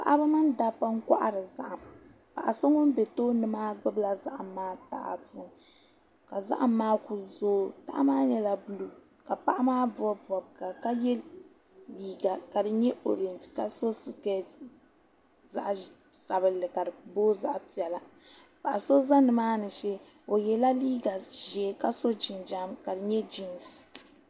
Paɣaba mini dabba n koharI zaham paɣa so ŋun bɛ tooni maa gbubila zaham maa tahpoŋ ka zaham maa ku zooi tahapoŋ maa nyɛla buluu ka paɣa maa bob bobga ka yɛ liiga ka di nyɛ orɛnji ka so sikɛt zaɣ sabinli ka di booi zaɣ piɛla paɣa so ʒɛ nimaani shee o yɛla liiga piɛla ka so jinjɛm ka di nyɛ jiins